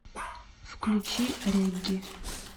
включи регги